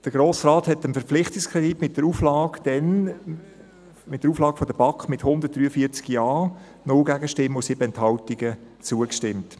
Der Grosse Rat stimmte dem Verpflichtungskredit mit der Auflage der BaK damals mit 143 Ja-Stimmen, 0 Gegenstimmen und 7 Enthaltungen zu.